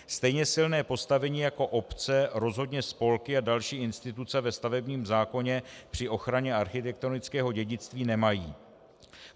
Stejně silné postavení jako obce rozhodně spolky a další instituce ve stavebním zákoně při ochraně architektonického dědictví nemají.